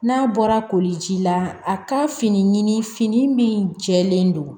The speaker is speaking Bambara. N'a bɔra koliji la a ka fini ɲimi fini min jɛlen don